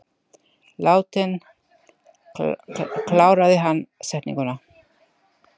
Látinn, kláraði hann setninguna.